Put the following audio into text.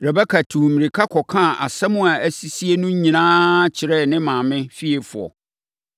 Rebeka tuu mmirika kɔkaa nsɛm a asisie no nyinaa kyerɛɛ ne maame fiefoɔ.